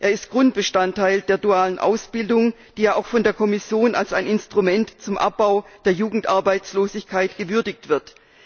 Er ist Grundbestandteil der dualen Ausbildung, die ja auch von der Kommission als ein Instrument zum Abbau der Jugendarbeitslosigkeit gewürdigt wird.